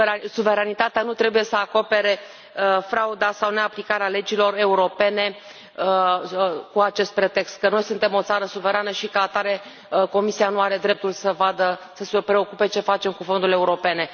Suveranitatea nu trebuie să acopere frauda sau neaplicarea legilor europene cu acest pretext, că noi suntem o țară suverană și ca atare Comisia nu are dreptul să vadă, să se preocupe ce facem cu fondurile europene.